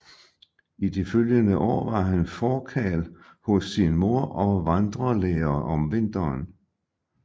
I de følgende år var han forkarl hos sin mor og vandrelærer om vinteren